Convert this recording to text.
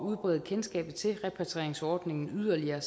udbrede kendskabet til repatrieringsordningen yderligere